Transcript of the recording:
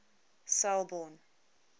selborne